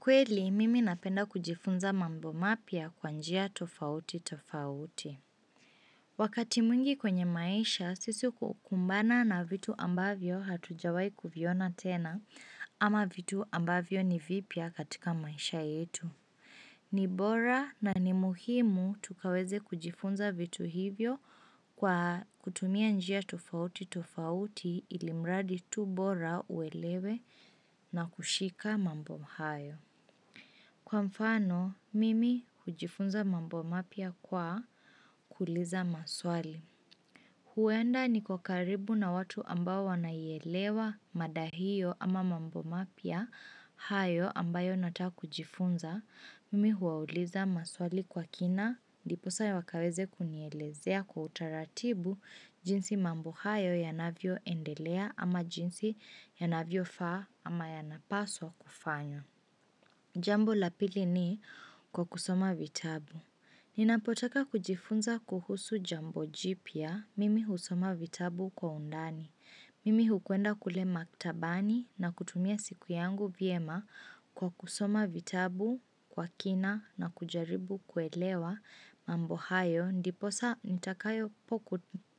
Kweli, mimi napenda kujifunza mambo mapya kwa njia tofauti tofauti. Wakati mwingi kwenye maisha, sisi kukumbana na vitu ambavyo hatujawai kuviona tena ama vitu ambavyo ni vipya katika maisha yetu. Ni bora na ni muhimu tukaweze kujifunza vitu hivyo kwa kutumia njia tofauti tofauti ilimradi tu bora uelewe na kushika mambo hayo. Kwa mfano, mimi hujifunza mambo mapya kwa kuuliza maswali. Huenda niko karibu na watu ambao wanaielewa mada hiyo ama mambo mapya hayo ambayo nataka kujifunza. Mimi huwauliza maswali kwa kina ndiposa wakaweze kunielezea kwa utaratibu jinsi mambo hayo yanavyo endelea ama jinsi yanavyo faa ama yanapaswa kufanywa. Jambo la pili ni kwa kusoma vitabu. Ninapotaka kujifunza kuhusu jambo jipya mimi husoma vitabu kwa undani. Mimi hukwenda kule maktabani na kutumia siku yangu vyema kwa kusoma vitabu kwa kina na kujaribu kuelewa mambo hayo. Ndiposa nitakayo poku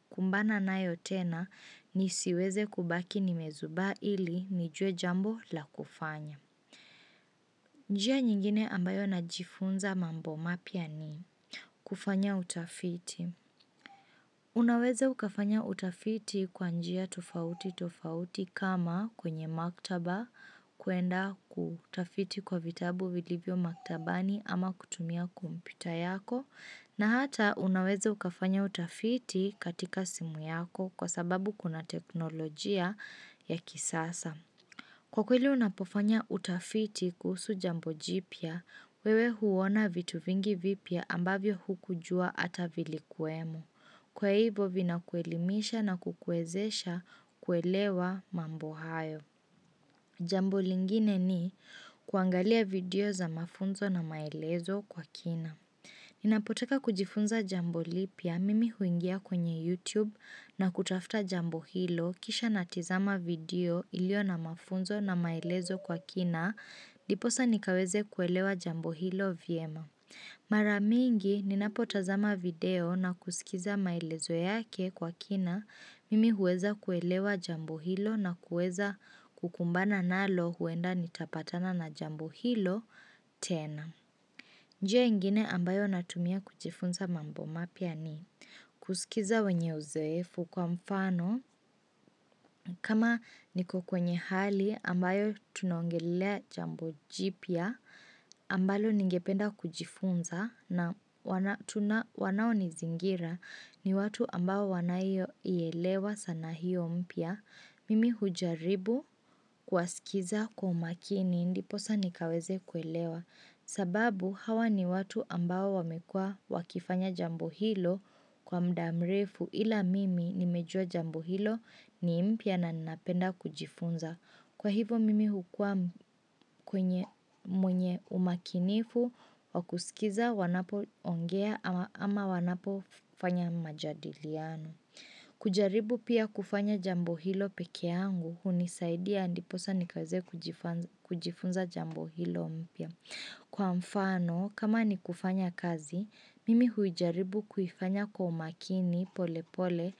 kumbana nayo tena nisiweze kubaki nimezubaa ili nijue jambo la kufanya. Njia nyingine ambayo najifunza mambo mapya ni kufanya utafiti. Unaweza ukafanya utafiti kwa njia tofauti tofauti kama kwenye maktaba kuenda kutafiti kwa vitabu vilivyo maktabani ama kutumia kompyuta yako. Na hata unaweze ukafanya utafiti katika simu yako kwa sababu kuna teknolojia ya kisasa. Kwa kweli unapofanya utafiti kuhusu jambo jipya, wewe huona vitu vingi vipya ambavyo hukujua ata vilikuwemo. Kwa hivyo vinakuelimisha na kukuezesha kuelewa mambo hayo. Jambo lingine ni kuangalia video za mafunzo na maelezo kwa kina. Ninapotaka kujifunza jambo lipya mimi huingia kwenye YouTube na kutafuta jambo hilo kisha natizama video ilio na mafunzo na maelezo kwa kina diposa nikaweze kuelewa jambo hilo vyema mara mingi ninapotazama video na kusikiza maelezo yake kwa kina mimi huweza kuelewa jambo hilo na kuweza kukumbana nalo huenda nitapatana na jambo hilo tena njia ingine ambayo natumia kujifunza mambo mapya ni kusikiza wenye uzoefu kwa mfano kama niko kwenye hali ambayo tunongelea jambo jipya ambalo ningependa kujifunza na wanao nizingira ni watu ambao wanayo ielewa sanaa hiyo mpya. Mimi hujaribu kuwasikiza kwa umakini ndi posa nikaweze kuelewa sababu hawa ni watu ambao wamekua wakifanya jambo hilo kwa mda mrefu ila mimi nimejua jambo hilo ni mpya na napenda kujifunza Kwa hivo mimi hukua mwenye umakinifu wa kusikiza wanapoongea ama wanapo fanya majadiliano kujaribu pia kufanya jambo hilo peke yangu hunisaidia ndiposa nikaweze kujifunza jambo hilo mpya Kwa mfano kama ni kufanya kazi mimi huijaribu kuifanya kwa umakini pole pole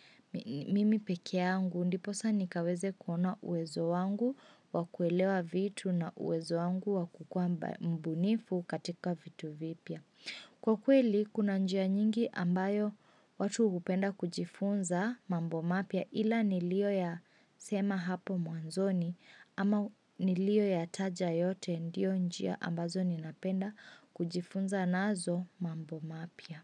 mimi peke yangu ndiposa nikaweze kuona uwezo wangu wakuelewa vitu na uwezo wangu wakukua mbunifu katika vitu vipya Kwa kweli, kuna njia nyingi ambayo watu hupenda kujifunza mambo mapya ila nilio ya sema hapo mwanzoni ama nilio ya taja yote ndio njia ambazo ninapenda kujifunza nazo mambo mapya.